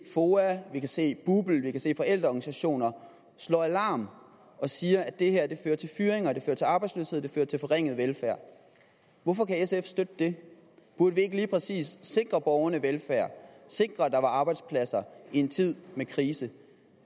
foa vi kan se bupl vi kan se forældreorganisationer slå alarm og sige at det her fører til fyringer det fører til arbejdsløshed det fører til forringet velfærd hvorfor kan sf støtte det burde vi ikke lige præcis sikre borgerne velfærd sikre at der er arbejdspladser i en tid med krise